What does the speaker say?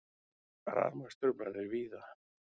Rafmagnstruflanir víða